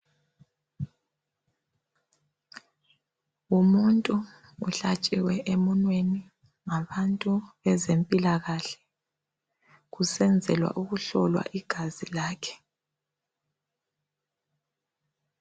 Umuntu uhlatshiwe emunweni ngabantu bezempilakahle kusenzelwa ukuhlolwa igazi lakhe.